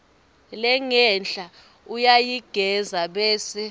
lengenhla uyayigengedza bese